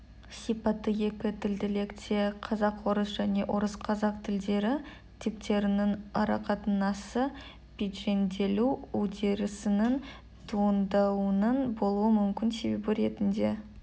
сипаты екі тілділікте қазақ-орыс және орыс-қазақ тілдері типтерінің арақатынасы пиджинделу үдерісінің туындауының болуы мүмкін себебі ретінде